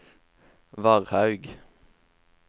Varhaug